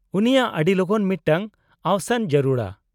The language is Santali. -ᱩᱱᱤᱭᱟᱜ ᱟᱹᱰᱤᱞᱚᱜᱚᱱ ᱢᱤᱫᱴᱟᱝ ᱟᱣᱥᱟᱱ ᱡᱟᱹᱨᱩᱲᱟ ᱾